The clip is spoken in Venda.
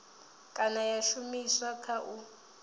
kana ya shumiswa kha u